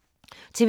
TV 2